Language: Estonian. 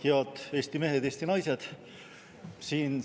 Head Eesti mehed, Eesti naised!